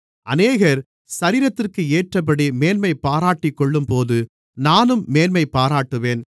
அநேகர் சரீரத்திற்கேற்றபடி மேன்மை பாராட்டிக்கொள்ளும்போது நானும் மேன்மைபாராட்டுவேன்